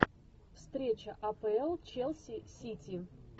встреча апл челси сити